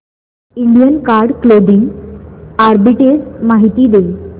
Indian card clothing arbitrage माहिती दे